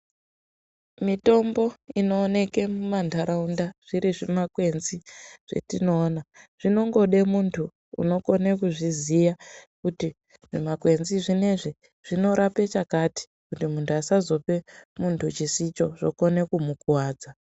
Mitombo inooneke mumantaraunda zviri zvimakwenzi etinoona zvinongode muntu unokone kuzvisiya kuti zvimakwenzi zvinezvi zvinorape chakati kuti muntu asazope muntu chinokone kumukuwadza.